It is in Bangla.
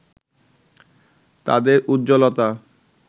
তাদের উজ্জ্বলতা